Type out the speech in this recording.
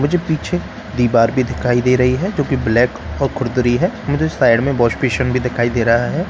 मुझे पीछे डिबर भी दिखाई दे रही है किउकी ब्लैक और हैमुझे साइड मई वाश्पिसन भी दिखाई दे रहा है ।